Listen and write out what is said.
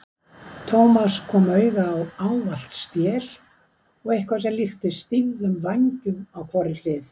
Thomas kom auga á ávalt stél og eitthvað sem líktist stýfðum vængjum á hvorri hlið.